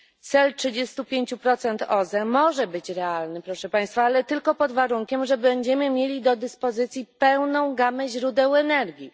Cel trzydziestu pięciu procent OZE może być realny proszę państwa, ale tylko pod warunkiem, że będziemy mieli do dyspozycji pełną gamę źródeł energii.